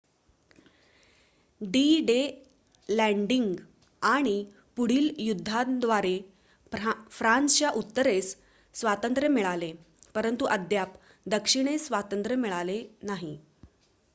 D-Day landing आणि पुढील युद्धांद्वारे फ्रान्सच्या उत्तरेस स्वांतत्र्य मिळाले परंतु अद्याप दक्षिणेस स्वातंत्र्य मिळाले नाही